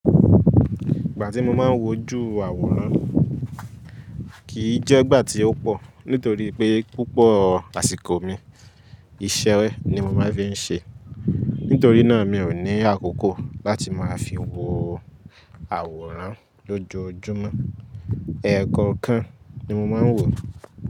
Ìgbà tí mo máa ń wojú àwòrán kì í jẹ́ ìgbà tí ó pọ̀ nítorí pé púpọ̀ àsìkò mi iṣẹ́ ni mo máa ń fi ń ṣe. Nítorí náà mi ò ní àkókò láti máa fi wo àwòrán lójoojúmọ́. Ẹ̀ẹ̀kookan ni mo máa ń wò.